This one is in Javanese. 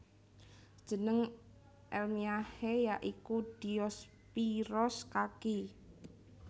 Jeneng èlmiyahé ya iku Diospyros kaki